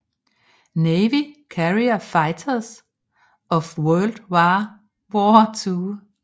Navy Carrier Fighters of World War II